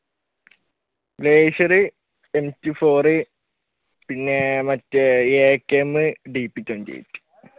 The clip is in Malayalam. glacier, m two four പിന്നെ മറ്റേ akm